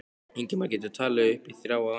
Ingimar: Geturðu talið upp í þrjá á ensku?